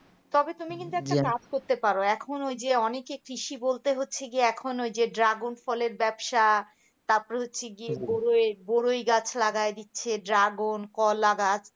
তবে তুমি কিন্তু একটা কাজ করতে পারো এখন ওই যে অনেকে কৃষি বলতে হচ্ছে গিয়ে এখন ওই যে dragon ফলের ব্যবসা তারপরে হচ্ছে গিয়ে বরই বরই গাছ লাগায় দিচ্ছে dragon কলাগাছ